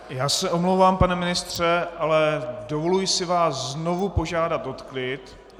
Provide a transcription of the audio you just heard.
Já se omlouvám, pane ministře, ale dovoluji si znovu požádat o klid!